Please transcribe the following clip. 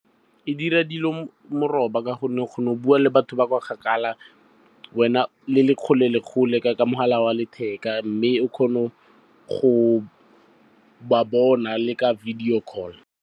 Edira dilo meroba ka gonne o kgona go bua le batho ba kwa kgakala, le le kgole le kgole ka mogala wa letheka. Mme o kgona go ba bona le ka video call.